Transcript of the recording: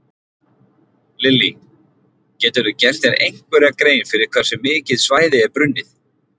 Lillý: Geturðu gert þér einhverja grein fyrir hversu mikið svæði er brunnið?